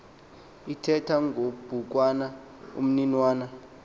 ithetha ngobhukwana umninawa